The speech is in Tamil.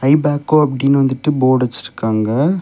இபேக்கோ அப்படின்னு வந்துட்டு போர்ட் வச்சிருக்காங்க.